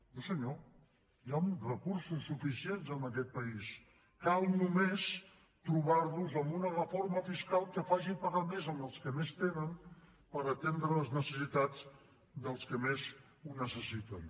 no senyor hi han recursos suficients en aquest país cal només trobar los amb una reforma fiscal que faci pagar més els que més tenen per atendre les necessitats dels que més ho necessiten